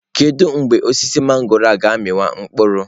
Kedu mgbe osisi mangọrọ ga-amị wa mkpụrụ?